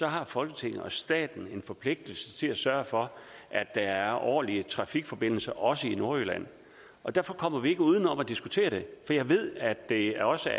har folketinget og staten en forpligtelse til at sørge for at der er ordentlige trafikforbindelser også i nordjylland og derfor kommer vi ikke uden om at diskutere det jeg ved at der også